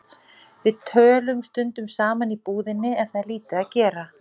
Við tölum stundum saman í búðinni ef það er lítið að gera.